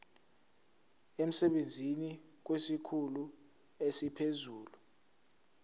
emsebenzini kwesikhulu esiphezulu